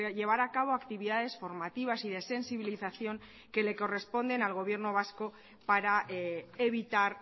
llevar a cabo actividades formativas y de sensibilización que le corresponden al gobierno vasco para evitar